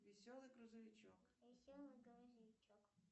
веселый грузовичок